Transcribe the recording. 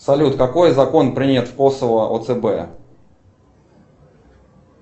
салют какой закон принят в косово о цб